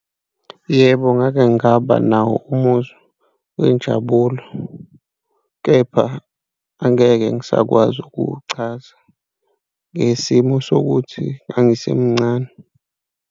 Yebo, ngake ngaba nawo umuzwa wenjabulo kepha angeke ngisakwazi ukuwuchaza ngesimo sokuthi ngangisemcane.